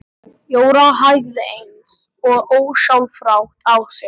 Jóra hægði eins og ósjálfrátt á sér.